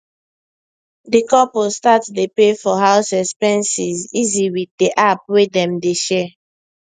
the couple start dey pay for house expenses easy with the app wey dem dey share